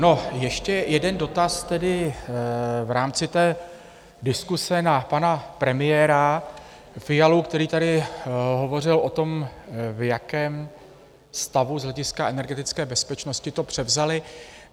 No, ještě jeden dotaz, tedy v rámci té diskuse na pana premiéra Fialu, který tady hovořil o tom, v jakém stavu z hlediska energetické bezpečnosti to převzali.